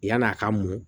Yann'a ka mɔ